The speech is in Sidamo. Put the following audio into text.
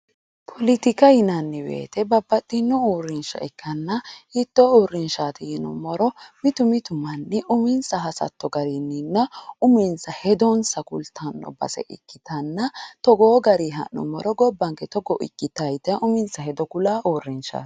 Poletika yinanniwoyite babbaxxino uurrinsha ikkanna hiittoo uurrinshaati yinummoro mitu mitu manni uminsa hasatto garinninna uminsa hedonsa kultanno base ikkitanna togoo gari ha'nummoro gobbanke gobbanke togo ikkitaa yitayi uminsa hedo uyitaho uurrinshaati.